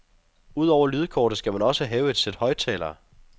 Udover lydkortet skal man også have et sæt højttalere.